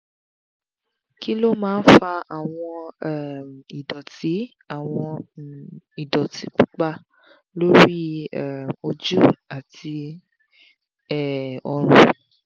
kí ló máa ń fa àwọn um ìdọ̀tí àwọn um ìdọ̀tí pupa lórí um ojú àti um ọrùn?